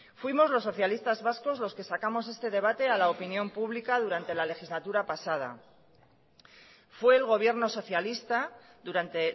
fuimos los socialistas vascos los que sacamos este debate a la opinión pública durante la legislatura pasada fue el gobierno socialista durante